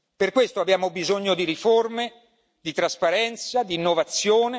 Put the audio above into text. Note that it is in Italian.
Per questo abbiamo bisogno di riforme, di trasparenza, di innovazione.